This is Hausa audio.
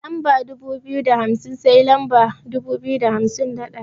Daga lamba dubu biyu da hamsin sai lamba dubu biyu da hamsin da ɗaya.